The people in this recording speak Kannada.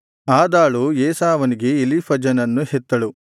ಆದಾಳು ಏಸಾವನಿಗೆ ಎಲೀಫಜನನ್ನು ಹೆತ್ತಳು ಬಾಸೆಮತಳು ರೆಗೂವೇಲನನ್ನು ಹೆತ್ತಳು